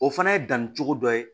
O fana ye danni cogo dɔ ye